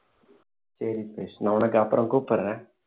சரி பவிஷ் நான் உனக்கு அப்பறம் கூப்பிடுறேன்